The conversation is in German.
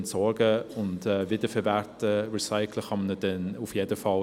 Entsorgen und wiederverwerten oder recyceln lässt er sich dann auf jeden Fall.